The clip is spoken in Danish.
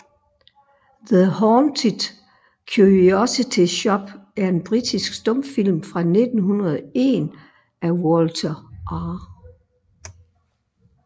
The Haunted Curiosity Shop er en britisk stumfilm fra 1901 af Walter R